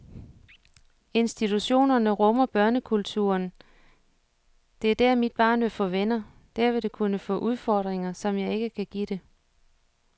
Institutionerne rummer børnekulturen, det er der mit barn vil få venner, der vil det kunne få udfordringer, som jeg ikke kan give det.